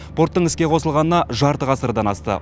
порттың іске қосылғанына жарты ғасырдан асты